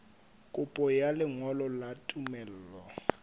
kopo ya lengolo la tumello